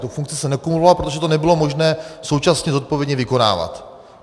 Tu funkci jsem nekumuloval, protože to nebylo možné současně zodpovědně vykonávat.